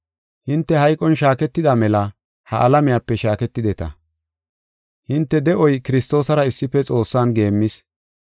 Hinte hayqon shaaketida mela ha alamiyape shaaketideta. Hinte de7oy Kiristoosara issife Xoossan geemmis.